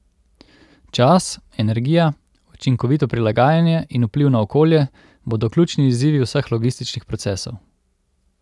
Čas, energija, učinkovito prilagajanje in vpliv na okolje bodo ključni izzivi vseh logističnih procesov.